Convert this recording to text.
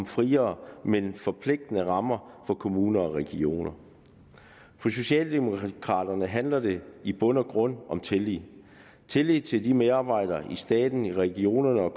friere men forpligtende rammer for kommuner og regioner for socialdemokraterne handler det i bund og grund om tillid tillid til medarbejderne i staten i regionerne og